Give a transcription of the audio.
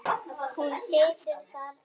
Hún situr þar enn.